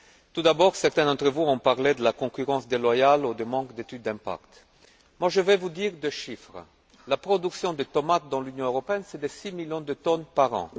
Tout d'abord, certains d'entre vous ont parlé de la concurrence déloyale ou du manque d'études d'impact. Je vais vous donner deux chiffres la production de tomates dans l'Union européenne, c'est six millions de tonnes par an.